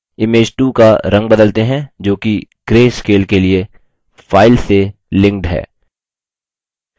image 2 का रंग बदलते हैं जोकि greyscale के लिए file से linked है